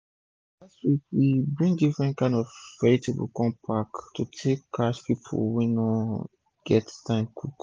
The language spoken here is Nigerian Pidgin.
last week we bring different kain vegetable inside one pack to take catch pipu wey no get time to cook